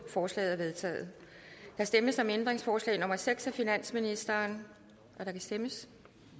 forslaget er vedtaget der stemmes om ændringsforslag nummer seks af finansministeren og der kan stemmes